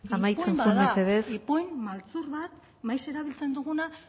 amaitzen joan mesedez ipuin maltzur bat maiz erabiltzen duguna